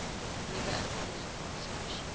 nuwe inkomeling aansoekers